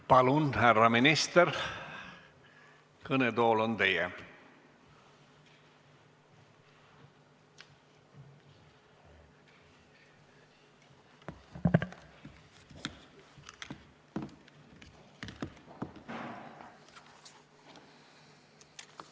Palun, härra minister, kõnetool on teie!